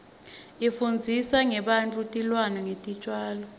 ifundzisa ngebantfu tilwane netitjalo